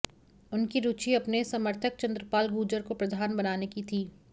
उनकी रुचि अपने समर्थक चंद्रपाल गूजर को प्रधान बनाने की थी